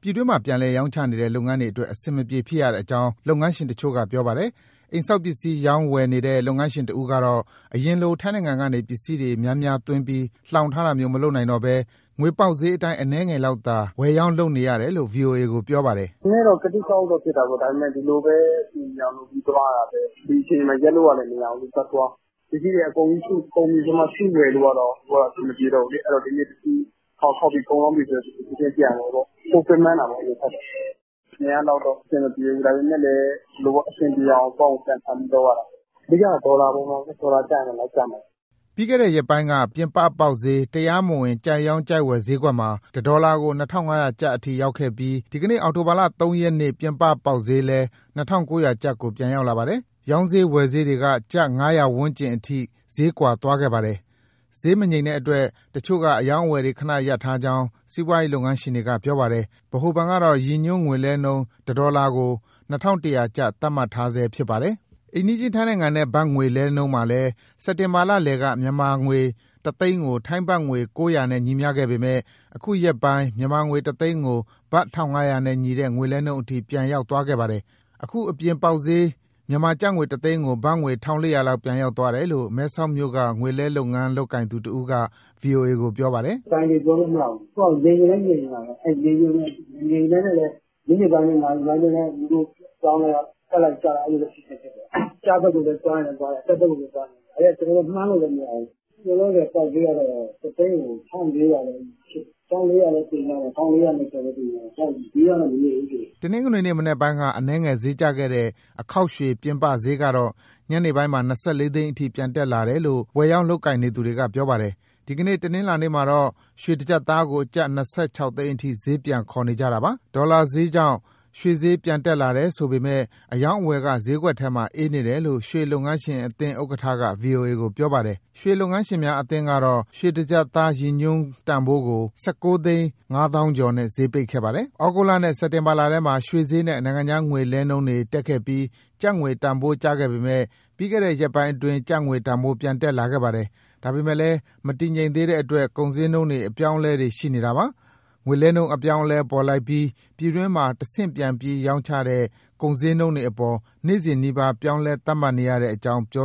ပြည်တွင်းမှာ ပြန်လည်ရောင်းချနေတဲ့ လုပ်ငန်းတွေအတွက် အဆင်မပြေဖြစ်ရတဲ့အကြောင်း လုပ်ငန်းရှင်တချို့က ပြောတာပါ။ အိမ်ဆောက်ပစ္စည်း ရောင်းဝယ်နေတဲ့ လုပ်ငန်းရှင်တဦးကတော့ အရင်လို ထိုင်းနိုင်ငံကနေ ပစ္စည်းတွေ အများအပြားသွင်းပြီး လှောင်ထားတာမျိုး မလုပ်နိုင်တော့ဘဲ ငွေပေါက်ဈေးအတိုင်း အနည်းငယ်လောက်သာ ဝယ်ရောင်းလုပ်နေရတယ်လို့ ဗွီအိုအေကို ပြောပါတယ်။ " နည်းနည်းတော့ ကသိကအောက်တော့ဖြစ်တာပေါ့။ ဒါပေမယ့် ဒီလိုပဲအဆင်ပြေအောင်လုပ်ပြီး သွားရတာပဲ။ ဒီအခြေအနေမှာ ရပ်လို့ကလည်း မရဘူးလေ။ ဆက်သွား..။ ပစ္စည်းတွေက ကုန်ပြီဆိုမှစုဝယ်လို့က အခုကအဆင်မပြေတော့ဘူးလေ။ အဲဒီတော့ ဒီနေ့တခုဖောက်၊ ဖောက်ပြီးကုန်သွားပြီဆို ချက်ချင်းပြန်ဝယ်ပေါ့။ ပိုပင်ပန်းတာပေါ့ အရင်ကထက်တော့။ အရင်ကလောက် အဆင်မပြေဘူး။ ဒါပေမယ့်လည်း ဒီလိုပဲ အဆင်ပြေအောင် ကြံဖန်ပြီးလုပ်ရတာပေါ့။ အဓိကတော့ ဒေါ်လာပါပဲ။ ဒေါ်လာကျရင် လိုက်ကျမှာပေါ့။" ပြီးခဲ့တဲ့ရက်ပိုင်းက ပြင်ပပေါက်ဈေး၊ တရားမဝင် ကြိုက်ရောင်း ကြိုက်ဝယ်ဈေးကွက်မှာ တဒေါ်လာကို ၂,၅၀၀ ကျပ်အထိရောက်ခဲ့ပြီး ဒီနေ့အောက်တိုဘာလ ၃ ရက်နေ့ ပြင်ပပေါက်ဈေးလည်း ၂,၉၀၀ ကျပ်ကို ပြန်ရောက်လာပါတယ်။ ရောင်းဈေး ဝယ်ဈေးတွေက ကျပ် ၅၀၀ ဝန်းကျင်အထိ ဈေးကွာသွားခဲ့ပါတယ်။ ဈေးမငြိမ် တဲ့အတွက် တချို့က အရောင်းအဝယ်တွေ ခဏရပ်ထားကြောင်း စီးပွားလုပ်ငန်းရှင်တွေကပြောပါတယ်။ ဗဟိုဘဏ်ကတော့ ရည်ညွှန်းငွေလဲနှုန်း တဒေါ်လာကို ၂,၁၀၀ ကျပ် သတ်မှတ်ထားဆဲဖြစ်ပါတယ်။ အိမ်နီးချင်းထိုင်းနိုင်ငံနဲ့ ဘတ်ငွေလဲနှုန်းမှာလည်း စက်တင်ဘာလလည်က မြန်မာငွေ တသိန်းကို ထိုင်းဘတ်ငွေ ၉၀၀ နဲ့ ညီမျှခဲ့ပေမယ့် အခုရက်ပိုင်း မြန်မာငွေ တသိန်းကို ဘတ် ၁,၅၀၀ နဲ့ညီတဲ့ ငွေလဲနှုန်းအထိ ပြန်ရောက်သွားပါတယ်။ အခု အပြင် ပေါက်ဈေး မြန်မာငွေတသိန်းကို ဘတ်ငွေ ၁,၄၀၀ လောက် ပြန်ရောက်သွားတယ်လို့ မဲဆောက်မြို့က ငွေလဲလုပ်ငန်းလုပ်ကိုင်သူ တဦးက VOA ကို ပြောပါတယ်။ " ဘိုင်သေပြောလို့မရဘူး။ ငြိမ်ချင်လည်း ငြိမ်နေတာပဲ၊ မငြိမ်ဘဲနဲ့လည်း မိနစ်ပိုင်းအတွင်း၊ နာရီပိုင်းအတွင်းလည်း အပြောင်းအလဲက တက်လိုက်၊ ကျလိုက် အဲလိုဖြစ်နေတယ်။ အကျဘက်ကို သွားရင်လည်းသွားတယ်။ အတက်ဘက်ကို သွားရင် လည်းသွားတယ်၊ ကျနော်တို့က မှန်းလို့လည်းမရဘူး။ အခုလောလောဆယ် ပေါက်ဈေးကတော့ တသိန်းကို ၁,၄၀၀ လည်းတင်ကြတယ်။ ၁,၄၂၀လည်း တင်ကြတယ် ဈေးကတော့ မငြိမ်ဘူး။" တနင်္ဂနွေနေ့မနက်ပိုင်းက အနည်းငယ် ဈေးကျခဲ့တဲ့ အခေါက်ရွှေ ပြင်ပဈေးကတော့ ညနေ ပိုင်းမှာ၂၄ သိန်းအထိ ပြန်တက်လာတယ်လို့ ဝယ်ရောင်းလုပ်ကိုင်နေသူတွေက ပြောပါတယ်။ ဒီနေ့ တနင်္လာနေ့မှာတော့ ရွှေတကျပ်သားကို ကျပ်၂၆ သိန်းအထိ ဈေးပြန်ခေါ်နေကြတာပါ။ ဒေါ်လာဈေးကြောင့် ရွှေဈေးပြန်တက်လာတယ် ဆိုပေမဲ့ အရောင်းအဝယ်က ဈေးကွက်ထဲမှာ အေးနေတယ်လို့ ရွှေလုပ်ငန်းရှင် အသင်း ဥက္ကဋ္ဌက ဗွီအိုအေကို ပြောပါတယ်။ ရွှေလုပ်ငန်းရှင်များအသင်းကတော့ ရွှေတကျပ်သား ရည်ညွှန်းတန်ဖိုးကို ဆယ့်ကိုးသိန်း ငါးသောင်းကျော်နဲ့ ဈေးပိတ်ခဲ့ပါတယ်။ ဩဂုတ်လနဲ့ စက်တင်ဘာလထဲမှာ ရွှေဈေးနဲ့ နိုင်ငံခြားငွေ လဲလှယ်နှုန်းတွေ တက် ခဲ့ပြီး ကျပ်ငွေတန်ဖိုးကျခဲ့ပေမယ့် ပြီးခဲ့တဲ့ရက်ပိုင်းအတွင်း ကျပ်ငွေတန်ဖိုး ပြန်တက် လာခဲ့ပါတယ်။ ဒါပေမယ့်လည်း မတည်ငြိမ်သေးတဲ့အတွက် ကုန်ပစ္စည်းတွေ အပြောင်းအလဲတွေ ရှိနေတာပါ။ ငွေလဲနှုန်း အပြောင်းအလဲပေါ်လိုက်ပြီး ပြည်တွင်းမှာ တဆင့်ပြန်ပြီးရောင်းချတဲ့ ကုန်ဈေးနှုန်းတွေအပေါ် နေ့စဉ်နီးပါး ပြောင်းလဲ သတ်မှတ်နေရတဲ့အကြောင်း ပြော